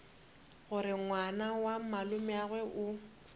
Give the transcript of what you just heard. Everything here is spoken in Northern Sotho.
gore ngwana wa malomeagwe o